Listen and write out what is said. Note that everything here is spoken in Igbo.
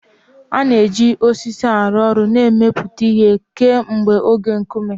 A na-eji osisi arụ ọrụ na imepụta ihe kemgbe oge Nkume.